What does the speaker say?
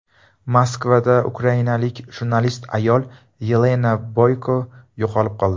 Moskvada ukrainalik jurnalist ayol Yelena Boyko yo‘qolib qoldi.